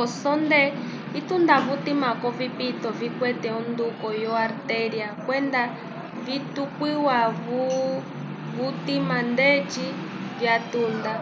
osonde itunda vutima k'ovipito vikwete onduko yo artéria kwenda vityuka vutima ndeci vyatunda